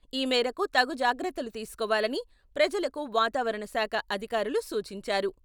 ఈ మేరకు తగు జాగ్రత్తలు తీసుకోవాలని ప్రజలకు వాతావరణ శాఖ అధికారులు సూచించారు.